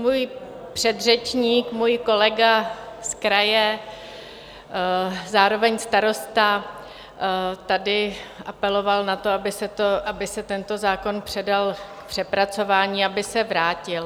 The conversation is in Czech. Můj předřečník, můj kolega z kraje, zároveň starosta tady apeloval na to, aby se tento zákon předal k přepracování, aby se vrátil.